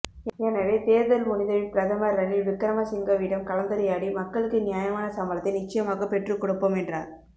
எனவே தேர்தல் முடிந்த பின் பிரதமர் ரணில் விக்ரமசிங்கவிடம் கலந்துரையாடி மக்களுக்கு நியாயமான சம்பளத்தை நிச்சியமாக பெற்று கொடுப்போம் என்றார்